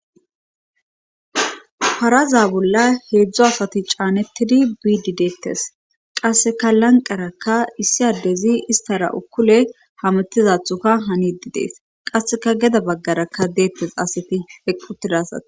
faraza bolla heedzdzo asati caanettidi biidi deettes qasseka lanqarakka issi addezi istara ukkule hamettizathuka hanidi dees qasseka geda baggarakka deettes asiti heqqutida asati